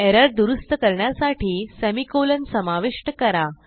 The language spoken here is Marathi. एरर दुरूस्त करण्यासाठी semi कॉलन समाविष्ट करा